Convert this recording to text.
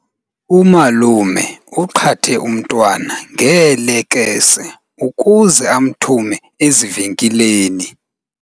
Umalume uqhathe umntwana ngeelekese ukuze amthume ezivenkileni.